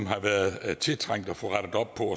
har været tiltrængt at få rettet op på